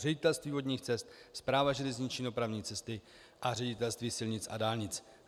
Ředitelství vodních cest, Správa železniční dopravní cesty a ředitelství silnic a dálnic.